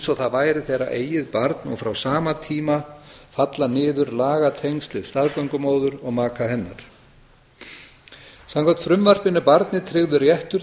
og það væri þeirra eigið barn og frá sama tíma falla niður lagatengsl við staðgöngumóður og maka hennar samkvæmt frumvarpinu er barni tryggður réttur